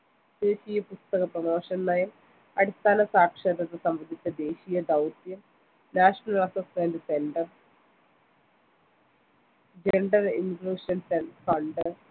ദേശീയ പുസ്തക promotion നയം അടിസ്ഥാന സാക്ഷരത സംബന്ധിച്ച ദേശീയ ദൗത്യം national assessment center gender inclutions and fund